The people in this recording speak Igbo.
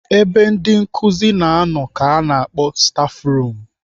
Ebe ndị nkụzi na-anọ ka ana akpọ stafrum.